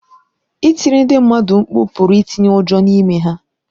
Ịtiri ndị mmadụ mkpu pụrụ itinye ụjọ n’ime ha.